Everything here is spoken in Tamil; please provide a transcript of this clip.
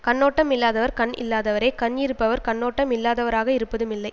கண்ணோட்டம் இல்லாதவர் கண் இல்லாதவரே கண் இருப்பவர் கண்ணோட்டம் இல்லாதவராக இருப்பதும் இல்லை